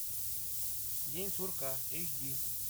день сурка эйч ди